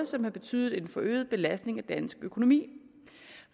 som har betydet en forøget belastning af dansk økonomi